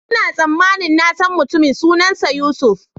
Ina tsammanin na san mutumin, sunansa Yusuf.